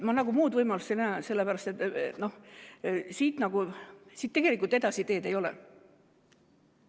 Ma muud võimalust ei näe, sest siit tegelikult edasi teed ei ole.